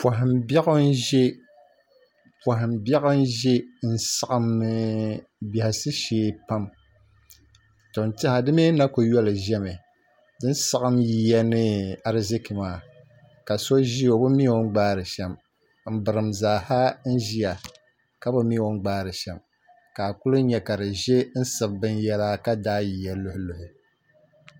Poham biɛɣu n ʒɛ n saɣam biɛhasi shee pam to n tiɛha di mii na ku yɔli ʒɛmi di ni saɣam yiya ni ariziki maa ka so ʒiya o bi mi o ni gbaari shɛm n birim zaaha n ʒiya ka bi mi o ni gbaari shɛm ka a ku nyɛ ka di ʒɛ n siɣi binyɛra ka daai yiya luɣi